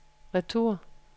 retur